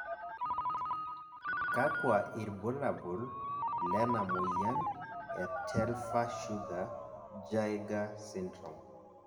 kakua irbulabol lena moyian e Telfer Sugar Jaeger syndrome?